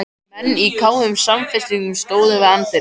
Menn í kámugum samfestingum stóðu við anddyri.